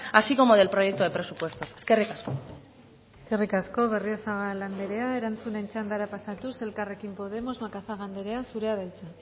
así como del proyecto de presupuestos eskerrik asko eskerrik asko berriozabal anderea erantzunen txandara pasatuz elkarrekin podemos macazaga anderea zurea da hitza